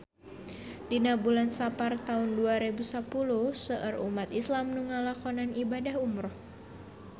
Dina bulan Sapar taun dua rebu sapuluh seueur umat islam nu ngalakonan ibadah umrah